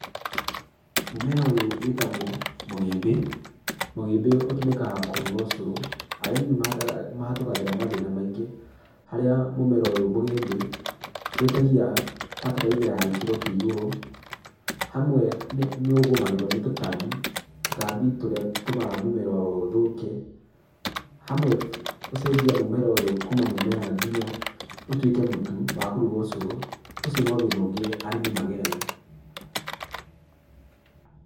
Mũmera ũyũ wĩtagwo mũgĩmbi. Mũgĩmbĩ ũtũmĩkaga kũruga ũcurũ. Arĩmi nĩmahatũkagĩra mathĩna maingĩ, harĩa mũmera ũyũ mũgĩmbĩ wĩtagia bataraitha ya gĩkĩro kĩa igũrũ, hamwe nĩ ũgũmagĩrwo nĩ tũtambi. Tũtambi tũrĩa tũtũmaga mũmera ũyũ ũthũke, hamwe gũcenjia mũmera ũyũ kuuma mũmera nginya ũtuĩke mũtũ wa kũrũga ũcũrũ, ũcio no thĩna ũngĩ arĩmi mageragĩra.